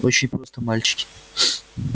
очень просто мальчики